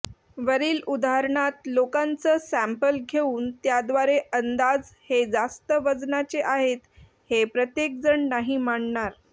वरील उदाहरणात लोकांचं सँपल घेऊन त्याद्वारे अंदाज हे जास्तं वजनाचे आहेत हे प्रत्येकजण नाही मानणार